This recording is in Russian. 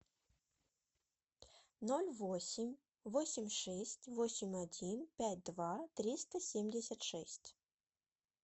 ноль восемь восемь шесть восемь один пять два триста семьдесят шесть